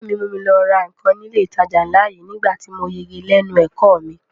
Ẹ̀gbọ́n mi mú mi lọ ra nǹkan ní ilé ìtajà ńlá yìí nígbà tí mo yege lẹ́nu ẹ̀kọ́ ọ mi